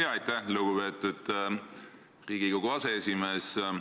Aitäh, lugupeetud Riigikogu aseesimees!